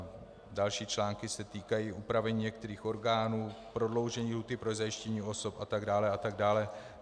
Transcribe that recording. Další články se týkají úpravy některých orgánů, prodloužení lhůty pro zajištění osob a tak dále a tak dále.